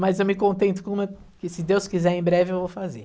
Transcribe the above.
Mas eu me contento com uma que, se Deus quiser, em breve eu vou fazer.